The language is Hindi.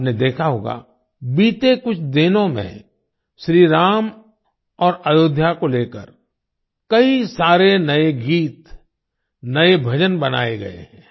आपने देखा होगा बीते कुछ दिनों में श्री राम और अयोध्या को लेकर कई सारे नए गीत नए भजन बनाये गए हैं